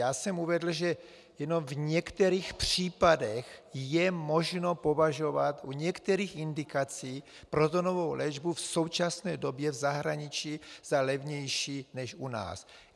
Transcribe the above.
Já jsem uvedl, že jenom v některých případech je možno považovat u některých indikací protonovou léčbu v současné době v zahraničí za levnější než u nás.